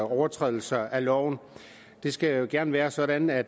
overtrædelser af loven det skal gerne være sådan at